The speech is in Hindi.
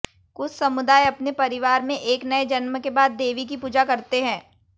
कुछ समुदाय अपने परिवार में एक नए जन्म के बाद देवी की पूजा करते हैं